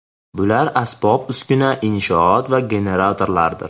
Bular asbob-uskuna, inshoot va generatorlardir.